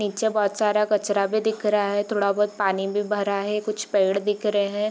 नीचे बहुत सारा कचरा भी दिख रहा है | थोड़ा बहुत पानी भी भरा है | कुछ पेड दिख रहे हैं |